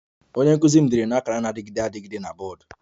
Onye nkụzi m dere na akara na-adịgide adịgide na bọọdụ